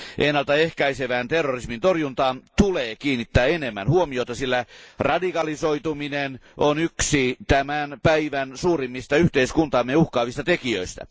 Ennaltaehkäisevään terrorismin torjuntaan tulee kiinnittää enemmän huomiota, sillä radikalisoituminen on yksi tämän päivän suurimmista yhteiskuntaamme uhkaavista tekijöistä.